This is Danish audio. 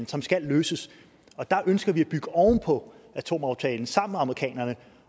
som skal løses der ønsker vi at bygge oven på atomaftalen sammen med amerikanerne